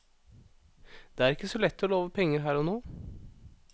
Det er ikke så lett å love penger her og nå.